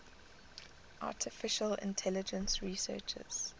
artificial intelligence researchers